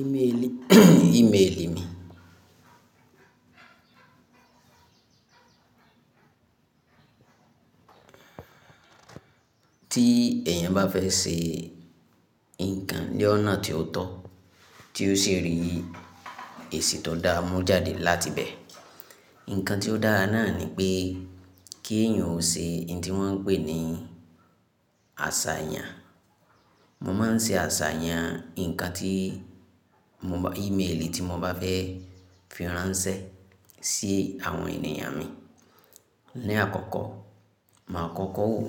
Ímèèlì. Ímèèlì mi. Tí èèyàn bá fẹ́ ṣe ǹkan ní ọ̀nà tí ó tọ́, tí ó sì rí èsì tó dáa mú jáde láti bẹ̀. Ǹkan tí ó dára náà ni pé kí èèyàn ó ṣe ohun tí wọ́n ń pè ní àṣàyàn. Mo máa ń ṣe àṣàyàn ǹkan tí mo bá-- ímèèlì tí mo bá fẹ́ fi ránṣẹ́ sí àwọn ènìyàn mi. Ní àkọ́kọ́, màá kọ́kọ́ wòó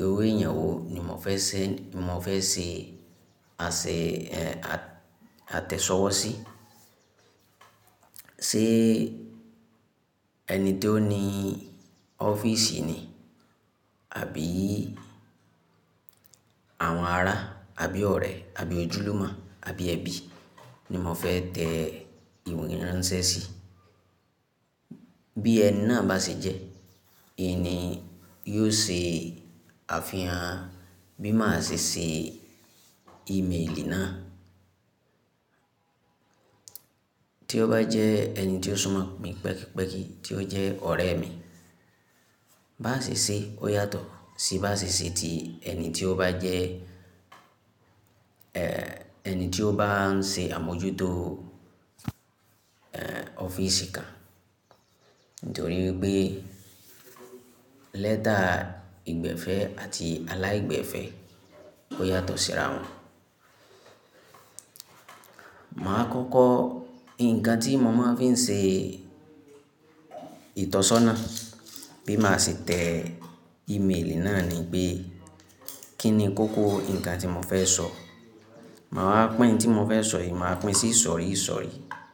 irú èèyàn wo ni mo fẹ́ ṣe, mo fẹ́ ṣe àsè, àtẹ̀sọ́wọ́ sí. Ṣé ẹni tó ní ọ́fíìsì ni? Àbí àwọn ará, àbí ọ̀rẹ́, àbí ojúlùmọ̀, àbí ẹbí ni mo fẹ́ tẹ ìwé ìránṣẹ́ sí. Bí ẹni náà bá ṣe jẹ́, ìní yóò ṣe àfihàn bí màá ṣe ṣe ímèèlì náà. Tí ó bá jẹ́ ẹni tí ó súnmọ́ mi pẹ́kípẹ́kí, tí ó jẹ́ ọ̀rẹ́ mi, bá ṣe ṣé ó yàtọ̀ sí bá ṣe ṣé tí ẹni tí ó bá jẹ́, eh, ẹni tí ó bá ń ṣe àmójútó, eh, ọ́fíìsì kan. Nítorí pé lẹ́tà ìgbẹ̀fẹ́ àti aláìgbẹ̀fẹ́ ó yàtọ̀ síra wọn. Màá kọ́kọ́ ǹkan tí mo máa fi ń ṣe ìtọ́sọ́nà bí màá ṣe tẹ ímèèlì náà ni pé kí ni kókó ǹkan tí mo fẹ́ sọ. Màá wá pín ohun tí mo fẹ́ sọ yìí, màá pín sí isọ̀rí isọ̀rí.